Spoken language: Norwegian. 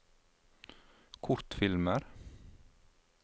kortfilmer